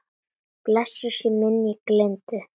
Blessuð sé minning Lindu.